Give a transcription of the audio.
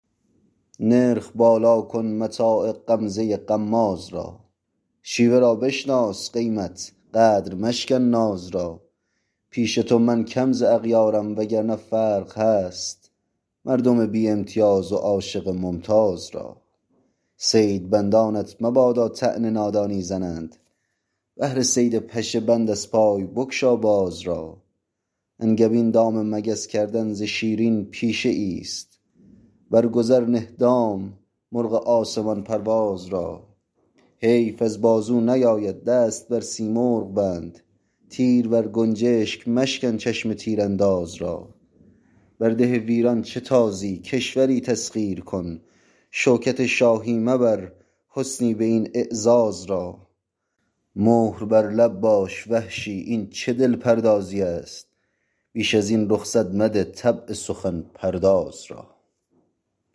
نرخ بالا کن متاع غمزه غماز را شیوه را بشناس قیمت قدر مشکن ناز را پیش تو من کم ز اغیارم و گرنه فرق هست مردم بی امتیاز و عاشق ممتاز را صید بندانت مبادا طعن نادانی زنند بهر صید پشه بند از پای بگشا باز را انگبین دام مگس کردن ز شیرین پیشه ایست برگذر نه دام مرغ آسمان پرواز را حیف از بازو نیاید دست بر سیمرغ بند تیر بر گنجشگ مشکن چشم تیر انداز را بر ده ویران چه تازی کشوری تسخیر کن شوکت شاهی مبر حسنی به این اعزاز را مهر بر لب باش وحشی این چه دل پردازی است بیش از این رخصت مده طبع سخن پرداز را